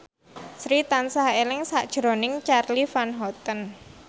Sri tansah eling sakjroning Charly Van Houten